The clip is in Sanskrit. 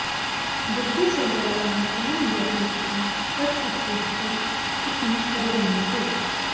मृत्युशय्यायां तेन यत् लिखितं तत् उत्कृष्टम् इति परिगण्यते